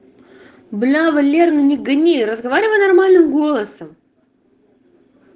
бля валер ну не гони разговаривай нормальным голосом